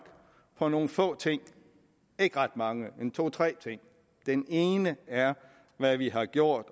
på nogle få ting ikke ret mange men to tre ting den ene er hvad vi har gjort